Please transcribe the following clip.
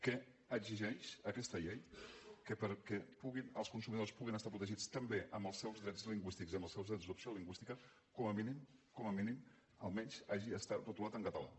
que exigeix aquesta llei que perquè els consumidors puguin estar protegits també en els seus drets lingüístics i en els seus drets d’opció lingüística com a mínim com a mínim almenys hagi estat retolat en català